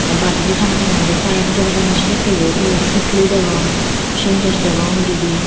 baredi tanga tanga gori payep jorey donney sedekkeye toyon sutli degong sintex dwgong dibey.